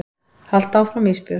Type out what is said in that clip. Haltu áfram Ísbjörg.